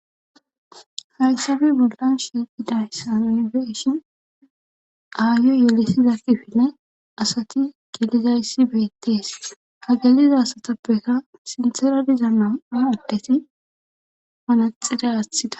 Hayssafe bollan shiqiday sa nonbeshin aayyo yelesizakkifinne asati gilizayssi beettees ha galiza asatappeka sintera diza na7aadeti panaxide aathida